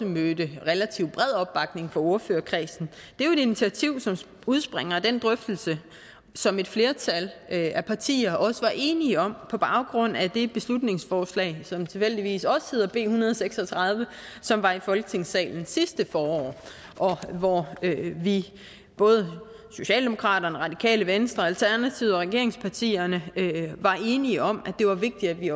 mødt en relativt bred opbakning fra ordførerkredsen er jo et initiativ som udspringer af den drøftelse som et flertal af partier også var enige om på baggrund af det beslutningsforslag som tilfældigvis også hedder b en hundrede og seks og tredive som var i folketingssalen sidste forår og hvor vi både socialdemokraterne radikale venstre alternativet og regeringspartierne var enige om at det var vigtigt at vi